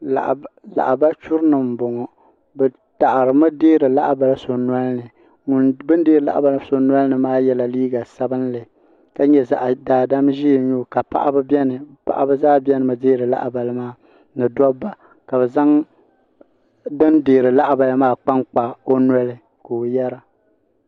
Lahabali churi nima m boŋɔ bɛ taɣarimi deeri lahabali so nolini bini deeri lahabali so nolini maa yela liiga sabinli daadam ʒee n nyɛ o ka paɣaba biɛni paɣaba zaa biɛnimi deeri lahabali ni dobba zaŋ ban deeri lahabali maa kpa n kpa o noli ka o yera.